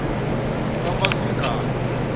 kamasingana